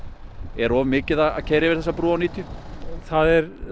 er of mikið að keyra yfir þessa brú á níutíu það er